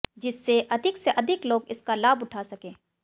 जिससे अधिक से अधिक लोग इसका लाभ उठा सकें